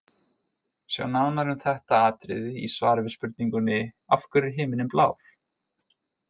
Sjá nánar um þetta atriði í svari við spurningunni Af hverju er himininn blár?.